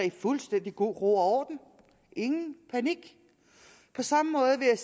i fuldstændig god ro og orden ingen panik på samme måde vil jeg